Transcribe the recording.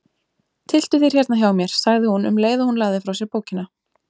Tylltu þér hérna hjá mér, sagði hún um leið og hún lagði frá sér bókina.